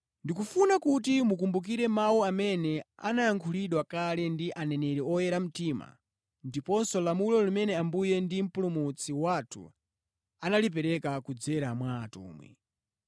Ndikufuna kuti mukumbukire mawu amene anayankhulidwa kale ndi aneneri oyera mtima ndiponso lamulo limene Ambuye ndi Mpulumutsi wathu analipereka kudzera mwa atumwi.